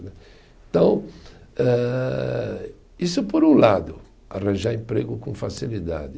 Então, isso por um lado, arranjar emprego com facilidade.